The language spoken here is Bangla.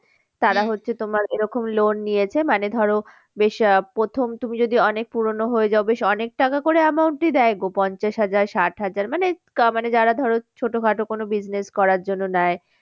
হচ্ছে তোমার এরকম loan নিয়েছে মানে ধরো বেশ আহ প্রথম তুমি যদি অনেক পুরোনো হয়ে যাও বেশ অনেক টাকা করে amount ই দেয় গো পঞ্চাশ হাজার ষাট হাজার মানে যারা ধরো ছোটোখাটো কোনো business করার জন্য নেয়